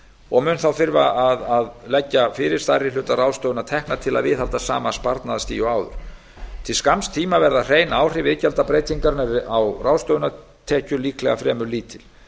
og mun þá þurfa að leggja fyrir stærri hluta ráðstöfunartekna til að viðhalda sama sparnaðarstigi og áður til skamms tíma verða hrein áhrif iðgjaldabreytingarinnar á ráðstöfunartekjur líklega fremur lítil